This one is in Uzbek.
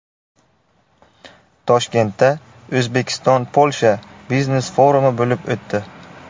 Toshkentda O‘zbekiston–Polsha biznes forumi bo‘lib o‘tdi.